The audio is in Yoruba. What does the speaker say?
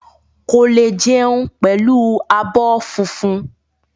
Ko le jẹun pẹlú abọ́ fúnfún.